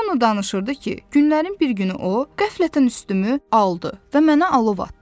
Ronnu danışırdı ki, günlərin bir günü o qəflətən üstümü aldı və mənə alov atdı.